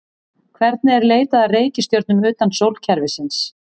Hvernig er leitað að reikistjörnum utan sólkerfisins?